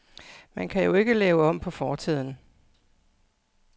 Man kan jo ikke lave om på fortiden.